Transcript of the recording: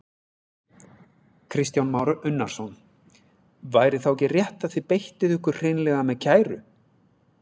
Kristján Már Unnarsson: Væri þá ekki rétt að þið beittuð ykkur hreinlega með kæru?